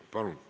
Palun!